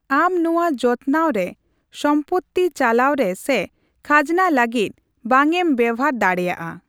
ᱟᱢ ᱱᱚᱣᱟ ᱡᱚᱛᱱᱟᱣ ᱨᱮ ᱥᱚᱢᱯᱚᱛᱤ ᱪᱟᱞᱟᱣ ᱨᱮ ᱥᱮ ᱠᱷᱟᱡᱱᱟ ᱞᱟᱹᱜᱤᱫ ᱵᱟᱝᱮᱢ ᱵᱮᱵᱷᱟᱨ ᱫᱟᱲᱮᱭᱟᱜᱼᱟ᱾